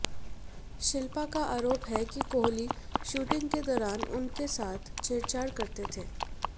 शिल्पा का आरोप है कि कोहली शूटिंग के दौरान उसके साथ छेड़छाड़ करते थे